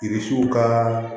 Yirisuw ka